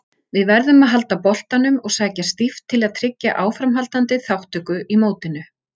Við verðum að halda boltanum og sækja stíft til að tryggja áframhaldandi þátttöku í mótinu.